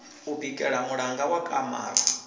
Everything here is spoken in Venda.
u bikela muṋango wa kamara